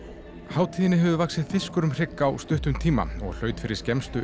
hátíðinni hefur vaxið fiskur um hrygg á stuttum tíma og hlaut fyrir skemmstu